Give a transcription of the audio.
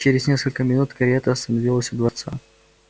через несколько минут карета остановилась у дворца